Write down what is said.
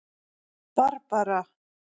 Barbara